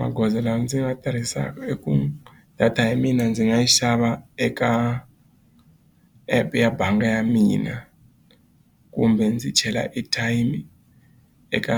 Magoza lawa ndzi nga tirhisaka i ku data ya mina ndzi nga xava eka app ya bangi ya mina kumbe ndzi chela airtime eka